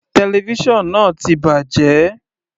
Television náà ti bàjẹ́.